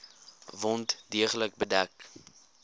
wond deeglik bedek